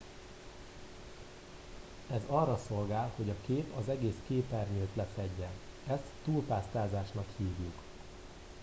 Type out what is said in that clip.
ez arra szolgál hogy a kép az egész képernyőt lefedje ezt túlpásztázásnak hívjuk